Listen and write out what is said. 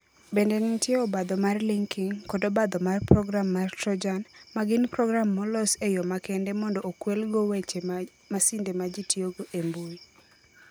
Bende nitie obadho mar linking, kod obadho mar program mar Trojan, ma gin program molos e yo makende mondo okwelgo weche mag masinde ma ji tiyogo e mbui.